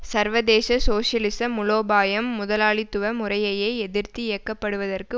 சர்வதேச சோசியலிச மூலோபாயம் முதலாளித்துவ முறையையே எதிர்த்து இயக்கப்படுவதற்கு